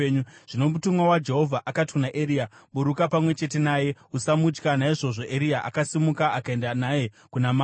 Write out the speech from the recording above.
Zvino mutumwa waJehovha akati kuna Eria, “Buruka pamwe chete naye; usamutya.” Naizvozvo Eria akasimuka akaenda naye kuna mambo.